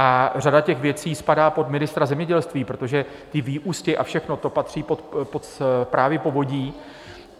A řada těch věcí spadá pod ministra zemědělství, protože ty vyústě a všechno, to patří pod správy povodí.